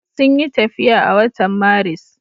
Sun yi tafiya a watan Maris.